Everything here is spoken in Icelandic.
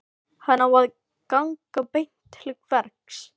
Hann á að ganga beint til verks.